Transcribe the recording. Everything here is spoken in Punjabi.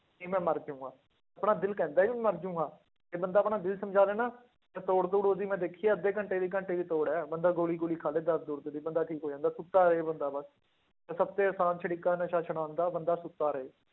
ਨਹੀਂ ਮੈਂ ਮਰ ਜਾਵਾਂਗਾ, ਆਪਣਾ ਦਿਲ ਕਹਿੰਦਾ ਹੈ ਵੀ ਮਰ ਜਾਊਂਗਾ, ਇਹ ਬੰਦਾ ਆਪਣਾ ਦਿਲ ਸਮਝਾ ਲਏ ਨਾ, ਇਹ ਤੋੜ ਤੂੜ ਉਹਦੀ ਮੈਂ ਦੇਖੀ ਆ ਅੱਧੇ ਘੰਟੇ ਦੀ ਘੰਟੇ ਦੀ ਤੋੜ ਹੈ ਬੰਦਾ ਗੋਲੀ ਗੋਲੀ ਖਾ ਲਏ ਦਰਦ ਦੁਰਦ ਦੀ ਬੰਦਾ ਠੀਕ ਹੋ ਜਾਂਦਾ, ਸੁੱਤਾ ਰਹੇ ਬੰਦਾ ਬਸ, ਤਾਂ ਸਭ ਤੋਂ ਆਸਾਨ ਤਰੀਕਾ ਨਸ਼ੇ ਛੁਡਾਉਣ ਦਾ ਬੰਦਾ ਸੁੱਤਾ ਰਹੇ।